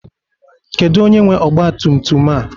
Kedu onye nwe ọgba tum tum a?